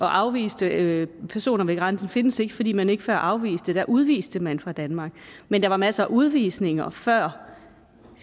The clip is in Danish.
afviste personer ved grænsen findes ikke fordi man ikke før afviste men der udviste man fra danmark men der var masser af udvisninger før